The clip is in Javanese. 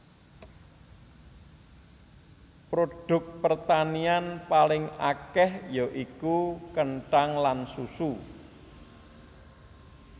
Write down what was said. Produk pertanian paling akèh ya iku kenthang lan susu